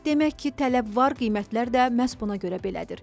Demək ki, tələb var, qiymətlər də məhz buna görə belədir.